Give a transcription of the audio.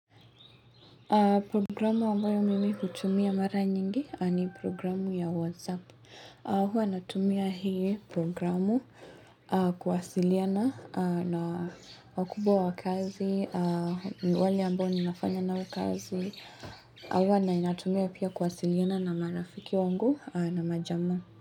Programu ambayo mimi hutumia mara nyingi ni programu ya WhatsApp. Huwa natumia hii programu kuwasiliana na wakubwa wakazi, walia ambao ni nafanya nao kazi. Huwa na inatumia pia kuwasiliana na marafiki wangu na majamaa.